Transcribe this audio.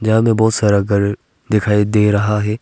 आगे बहोत सारा घर दिखाई दे रहा है।